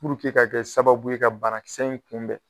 ka kɛ sababu ye ka banakisɛ in kunbɛn